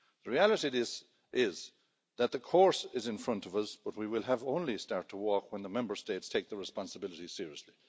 The reality of this is that the course is in front of us, but we will only start to work when the Member States take their responsibilities seriously.